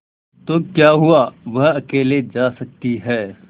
तो क्या हुआवह अकेले जा सकती है